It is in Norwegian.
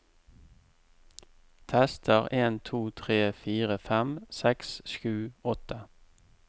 Tester en to tre fire fem seks sju åtte